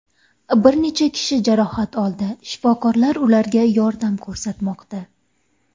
Bir necha kishi jarohat oldi, shifokorlar ularga yordam ko‘rsatmoqda.